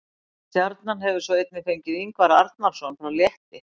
Stjarnan hefur svo einnig fengið Ingvar Arnarson frá Létti.